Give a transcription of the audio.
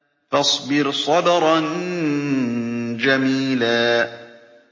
فَاصْبِرْ صَبْرًا جَمِيلًا